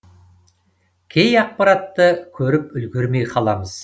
кей ақпаратты көріп үлгермей қаламыз